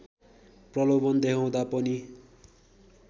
प्रलोभन देखाउँदा पनि